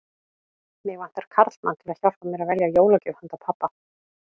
Mig vantar karlmann til að hjálpa mér að velja jólagjöf handa pabba